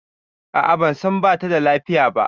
A a ban san ba ta da lafiya ba.